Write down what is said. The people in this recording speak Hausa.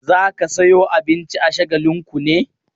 Za ka sayo abinci a Shagalinku ne?